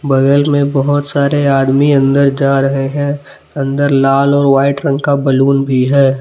बगल में बहुत सारे आदमी अंदर जा रहे हैं अंदर लाल और व्हाईट रंग का बैलून भी है।